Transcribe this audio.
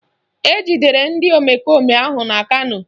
Ejidere ndị omekome ahụ na Kano